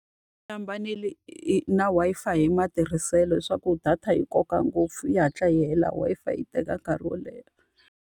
Yi hambanile hi na Wi-Fi hi matirhiselo leswaku data yi koka ngopfu yi hatla yi hela, Wi-Fi yi teka nkarhi wo leha.